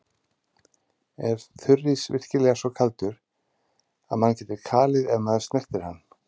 Er þurrís virkilega svo kaldur að mann getur kalið ef maður snertir hann?